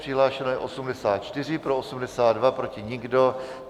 Přihlášeno je 84, pro 82, proti nikdo.